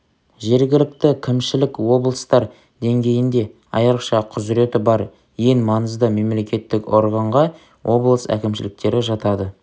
жергілікті кімшілік облыстар деңгейінде айрықша құзыреті бар ең маңызды мемлекеттік органға облыс әкімшіліктері жатады